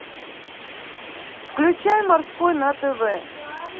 включай морской на тв